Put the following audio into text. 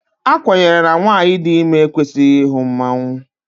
A kwenyere na nwanyị dị ime ekwesịghị ịhụ mmanwụ